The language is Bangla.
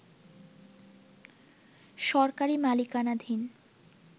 সরকারি মালিকানাধীন